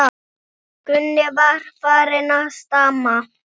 Gunni var farinn að stama.